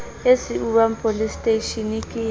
e siuwang poleseteishene ke ya